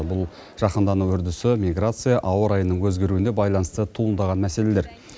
бұл жаһандану үрдісі миграция ауа райының өзгеруіне байланысты туындаған мәселелер